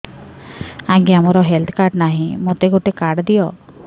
ଆଜ୍ଞା ମୋର health card ନାହିଁ ମୋତେ ଗୋଟେ କାର୍ଡ ଦିଅ